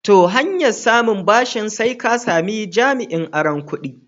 To, hanyar samun ɓashin sai ka sami jami'in auron kuɗi.